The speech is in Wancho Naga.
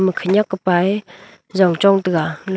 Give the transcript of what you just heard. khanak kupa ye jong chong taga